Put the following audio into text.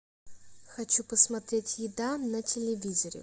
хочу посмотреть еда на телевизоре